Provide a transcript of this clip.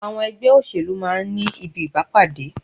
Àwọn ẹgbẹ́ òṣèlú máa ń ní ibi ìpàdé.